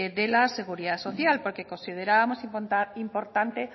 de la seguridad social porque considerábamos importante